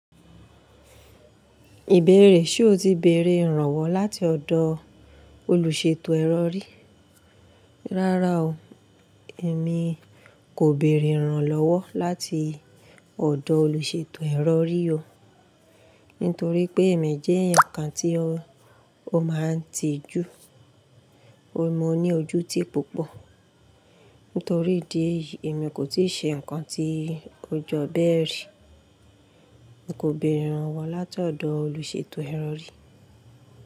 Ìbéèrè, ṣe o ti bèèrè ìrànwọ́ láti ọ̀dọ̀ olùṣètò ẹ̀rọ rì? Rárá o, èmi kò bèèrè ìrànlọ́wọ́ láti ọ̀dọ̀ olùṣètò ẹ̀rọ rì o. Nítorí pé èmi jẹ́ ẹ̀yàn kan tí ó máa ń tijú, mo ní ojú tí púpọ̀. Nítorí ìdí èyí, èmi kò tíì ṣe ǹkan tí ó jọ bẹ́ẹ̀ rí. Mi kò bèèrè ìrànwọ́ láti ọ̀dọ̀ olùṣètò ẹrọ rì.